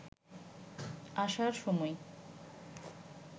আসার সময়